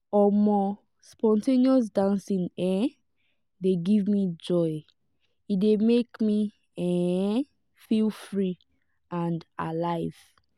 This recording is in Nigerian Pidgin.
um spontaneous dancing um dey give me joy e dey make me um feel free and alive.